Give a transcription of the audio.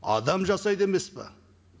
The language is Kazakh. адам жасайды емес пе